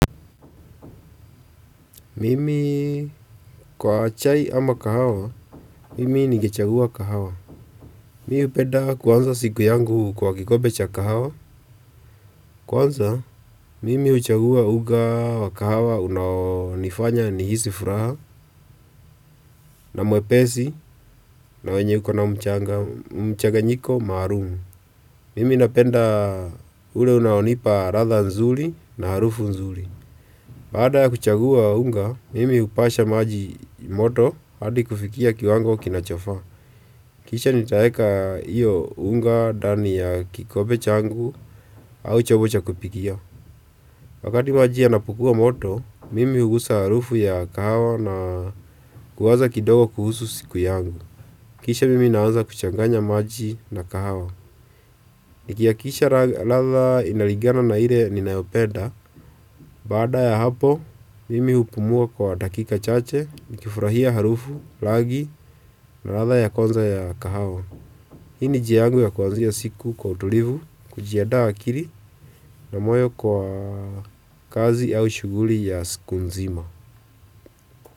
Mimi kwa chai ama kahawa, mimi ningechagua kahawa. Mimi hupenda kuanza siku yangu kwa kikombe cha kahawa. Kwanza, mimi huchagua unga wa kahawa unaonifanya nihisi furaha na mwepesi na wenye yuko na mchanganyiko maalum. Mimi napenda ule unaonipa latha nzuri na harufu nzuri. Baada ya kuchagua unga, mimi hupasha maji moto hadi kufikia kiwango kinachofaa. Kisha nitaweka hiyo unga ndani ya kikombe changu au chombo cha kupikia. Wakati maji yanapokuwa moto, mimi hugusa harufu ya kahawa na kuwaza kidogo kuhusu siku yangu. Kisha mimi naanza kuchanganya maji na kahawa. Nikihakikisha ladha inalingana na ile ninayopenda. Baada ya hapo, mimi upumua kwa dakika chache, nikifurahia harufu rangi na ladha ya kwanza ya kahawa. Hii ni njia yangu ya kuanzisha siku kwa utulivu, kujiandaa akili na moyo kwa kazi au shughuli ya siku nzima.